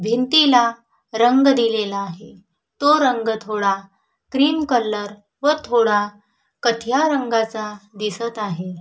भिंतीला रंग दिलेला आहे तो रंग थोडा क्रीम कलर व थोडा काथिया रंगाच आहे.